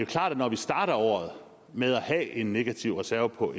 klart at når vi starter året med at have en negativ reserve på